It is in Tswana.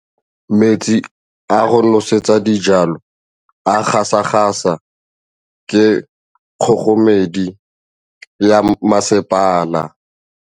Metsi a go nosetsa dijalo a gasa gasa ke kgogomedi ya masepala.